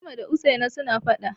Fatima da Usaina suna faɗa.